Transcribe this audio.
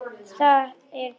Það er klefinn minn.